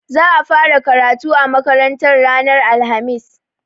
Za a fara karatu a makarantar ranar alhamis.